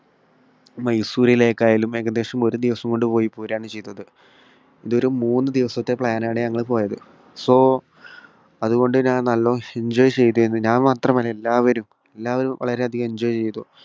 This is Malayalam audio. മൈസൂറിലേയ്ക്കായാലും ഏകദേശം ഒരു ദിവസം കൊണ്ടു പോയി പോരുകയാണ് ചെയ്തത്. ഇത് ഒരു മൂന്നു ദിവസത്തെ plan ആണ് ഞങ്ങൾ പോയത്. so അതുകൊണ്ട് ഞാൻ നല്ലവണ്ണം enjoy ചെയ്തിരുന്നു. ഞാൻ മാത്രമല്ല, എല്ലാവരും. എല്ലാവരും വളരെയധികം enjoy ചെയ്തു.